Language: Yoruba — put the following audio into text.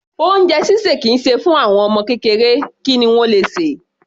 Oúnjẹ ṣíṣè kì í ṣe fún àwọn ọmọ kékeré, kí ni wọ́n le sè?